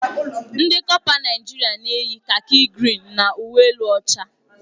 Ndị kọpa Naijiria na-eyi kaki grịn na uwe elu ọcha.